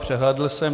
Přehlédl jsem.